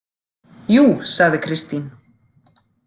Jú, sagði Kristín.